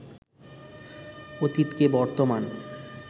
অতীতকে বর্তমান